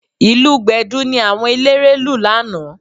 Ìlù Gbẹ̀du ni àwọn eléré lù lánàá